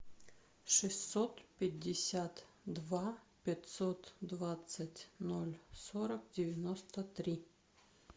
шестьсот пятьдесят два пятьсот двадцать ноль сорок девяносто три